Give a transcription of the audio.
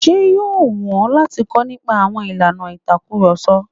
Ṣé yóò wù ọ́ láti kọ́ nípa àwọn ìlànà ìtakurọ̀sọ?